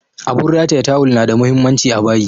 Abun rataya tawul na da muhimmanci a bayi